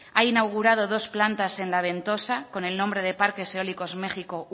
ha inaugurado dos plantas en la ventosa con el nombre de parques eólicos méxico